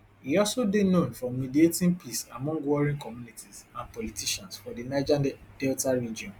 e also dey known for mediating peace among warring communities and politicians for di niger delta region